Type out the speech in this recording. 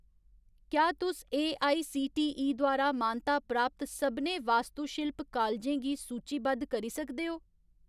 क्या तुस एआईसीटीई द्वारा मानता प्राप्त सभनें वास्तुशिल्प कालजें गी सूचीबद्ध करी सकदे ओ ?